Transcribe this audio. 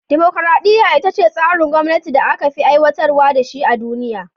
Dimokuradiyya ita ce tsarin gwamnati da aka fi aiwatar da shi a duniya.